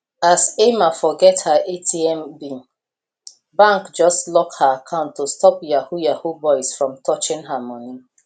as emma forget her atm pin bank just lock her account to stop yahoo yahoo boys from touching her money